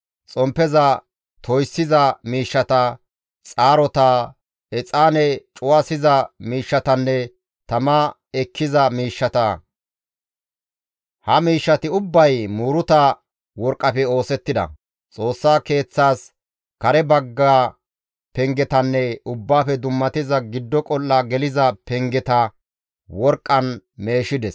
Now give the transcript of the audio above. xomppeza toyssiza miishshata, xaarota, exaane cuwasiza miishshatanne tama ekkiza miishshata. Ha miishshati ubbay muuruta worqqafe oosettida. Xoossa keeththaas kare bagga pengetanne Ubbaafe Dummatiza Giddo Qol7a geliza pengeta worqqan meeshides.